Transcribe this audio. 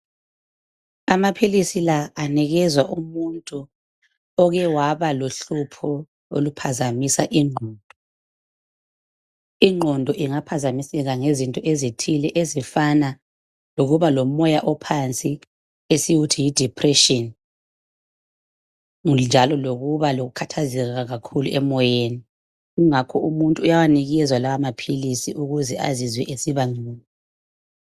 Amaphilisi la anikezwa umuntu oke waba lohlupho oluphazamisa inqondo. Inqondo ingaphazamiseka ngezinto ezithile ezifana lokuba lomoya ophansi, esikuthi yi depression, njalo lokuba lokukhathazeka kakhulu emoyeni. Kungakho umuntu uyawanikezwa lamaphilisi ukuze azizwe esiba ngcono.